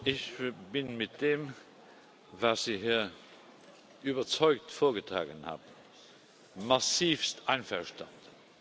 Ich bin mit dem, was Sie hier überzeugt vorgetragen haben, massivst einverstanden!